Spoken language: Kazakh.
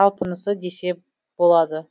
талпынысы десе болады